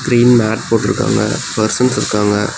Green mat போட்ருக்காங்க persons இருக்காங்க.